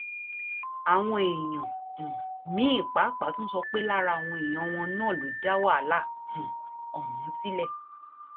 àwọn èèyàn um míín pàápàá tún sọ pé lára àwọn èèyàn wọn náà ló dá wàhálà um ọhún sílẹ